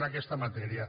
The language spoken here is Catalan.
en aquesta matèria